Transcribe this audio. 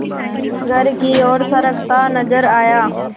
घर की ओर सरकता नजर आया